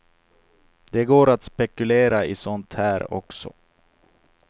Det går att spekulera i sånt här också.